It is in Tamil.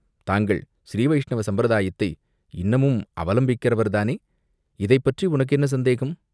தாங்கள் ஸ்ரீவைஷ்ணவ சம்பிரதாயத்தை இன்னமும் அவலம்பிக்கிறவர்தானோ?" இதைப் பற்றி உனக்கு என்ன சந்தேகம்?